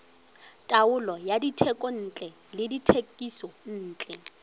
taolo ya dithekontle le dithekisontle